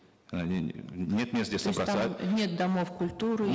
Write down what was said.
нет мест где собраться там нет домов культуры